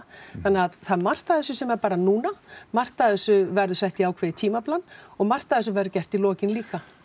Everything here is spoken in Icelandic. þannig að það er margt af þessu sem er bara núna margt af þessu verður sett í ákveðið tímaplan og margt af þessu verður gert í lokinn líka